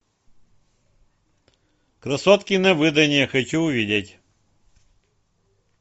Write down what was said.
красотки на выданье хочу увидеть